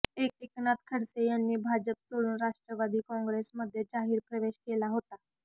एकनाथ खडसे यांनी भाजपा सोडून राष्ट्रवादी काँग्रेसमध्ये जाहीर प्रवेश केला होता